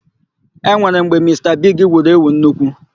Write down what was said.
E nwere mgbe Mista Bigi wuru èwù nnukwu.